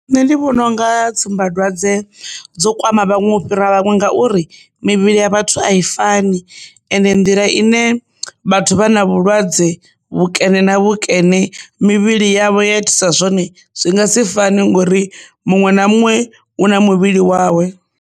Nṋe ndi vhona unga tsumbadwadze dzo kwama vhaṅwe u fhira vhaṅwe ngauri mivhili ya vhathu a i fani ende nḓila ine vhathu vha na vhulwadze vhu nkene na vhusekene mivhili yavho ya thusa zwone zwi nga si fani ngori muṅwe na muṅwe u na muvhili wawe.